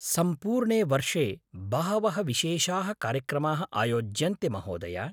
सम्पूर्णे वर्षे बहवः विशेषाः कार्यक्रमाः आयोज्यन्ते, महोदया।